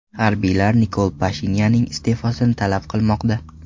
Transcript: Harbiylar Nikol Pashinyanning iste’fosini talab qilmoqda.